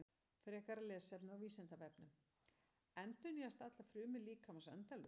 Frekara lesefni á Vísindavefnum: Endurnýjast allar frumur líkamans endalaust?